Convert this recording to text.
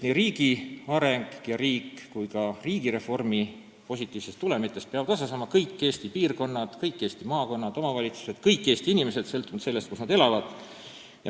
Nii riigi arengust kui ka riigireformi positiivsetest tulemitest peavad osa saama kõik Eesti piirkonnad, kõik Eesti maakonnad, kõik omavalitsused, kõik Eesti inimesed, sõltumata sellest, kus nad elavad.